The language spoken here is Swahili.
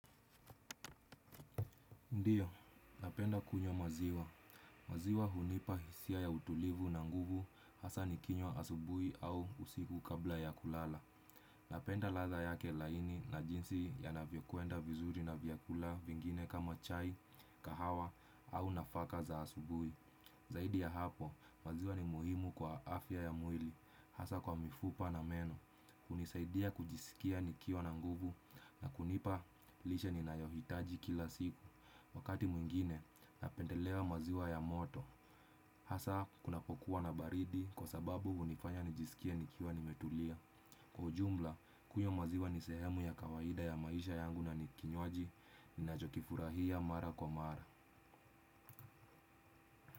Ndiyo, napenda kunywa maziwa. Maziwa hunipa hisia ya utulivu na nguvu hasa nikinywa asubui au usiku kabla ya kulala. Napenda ladha yake laini na jinsi yanavyokwenda vizuri na vyakula vingine kama chai, kahawa au nafaka za asubui. Zaidi ya hapo, maziwa ni muhimu kwa afya ya mwili hasa kwa mifupa na meno. Hunisaidia kujisikia nikiwa na nguvu na kunipa lishe ninayohitaji kila siku. Wakati mwingine napendelea maziwa ya moto. Hasa kunapokuwa na baridi kwa sababu hunifanya nijisikie nikiwa nimetulia. Kwa ujumla kunywa maziwa ni sehemu ya kawaida ya maisha yangu na ni kinywaji ninachokifurahia mara kwa mara.